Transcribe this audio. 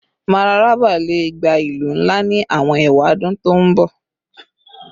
Mararaba le gba ilu nla ni awọn ewadun to n bọ